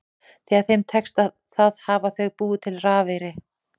Þegar þeim tekst það hafa þau búið til rafeyri.